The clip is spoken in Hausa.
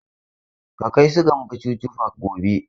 Ka kai su Gambo Chuchu park gobe!